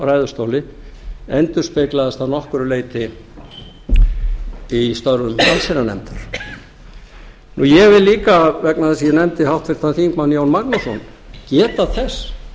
ræðustóli endurspeglaðist að nokkru leyti í störfum allsherjarnefndar ég vil líka vegna ber að ég nefndi háttvirtur þingmaður jón magnússon geta þess